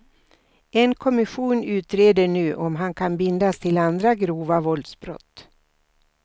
En kommission utreder nu om han kan bindas till andra grova våldsbrott.